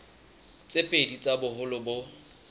tse pedi tsa boholo bo